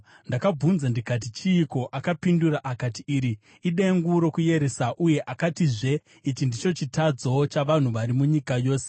Ndakabvunza ndikati, “Chiiko?” Akapindura akati, “Iri idengu rokuyeresa.” Uye akatizve, “Ichi ndicho chitadzo chavanhu vari munyika yose.”